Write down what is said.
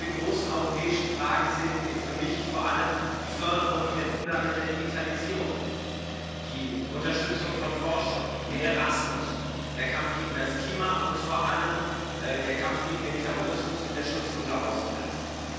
Zu den großen europäischen Fragen zählen für mich vor allem die Förderung und der Umgang mit der Digitalisierung, die Unterstützung von Forschung, mehr Erasmus, der Kampf gegen den Klimawandel und vor allem der Kampf gegen den Terrorismus und der Schutz unserer Außengrenzen.